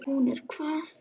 Hún er hvað.